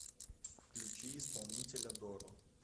включи исполнителя доро